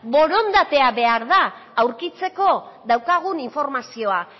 borondatea behar da aurkitzeko daukagun informazioa